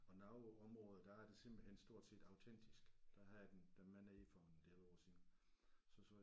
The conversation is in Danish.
Og noget af området der er det simpelthen stort set autentisk der havde jeg dem dem med nede for en del år siden så sagde